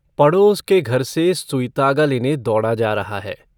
पड़ोस के घर से सुई-तागा लेने दौड़ा जा रहा है।